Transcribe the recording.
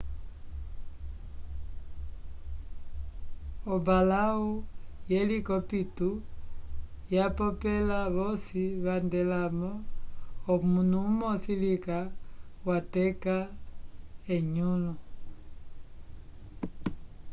ombalaw yelicopito yapopela vosi vandelamo omunu umosi lica wateka enyulu